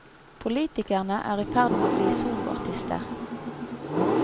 Politikerne er i ferd med å bli soloartister.